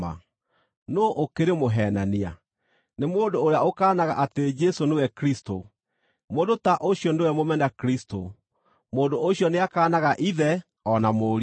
Nũũ ũkĩrĩ mũheenania? Nĩ mũndũ ũrĩa ũkaanaga atĩ Jesũ nĩwe Kristũ. Mũndũ ta ũcio nĩwe mũmena-Kristũ: mũndũ ũcio nĩakaanaga Ithe o na Mũriũ.